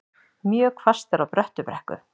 Mjög hvasst er á Bröttubrekku